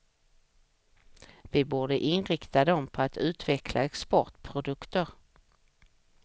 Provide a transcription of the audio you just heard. Vi borde inrikta dem på att utveckla exportprodukter.